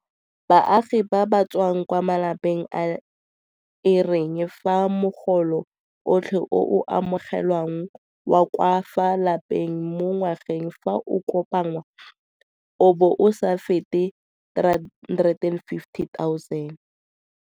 Baagi ba ba tswang kwa malapeng a e reng fa mogolo otlhe o o amogelwang wa ka fa lapeng mo ngwageng fa o kopanngwa o bo o sa fete 350 000.